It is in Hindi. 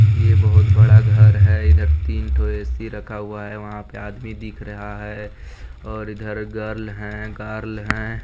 ये बहोत बड़ा घर है इधर तीन ठो ऐ.सी. रखा हुआ है वहाँ पे आदमी दिख रहा है और इधर गर्ल है गार्ल है।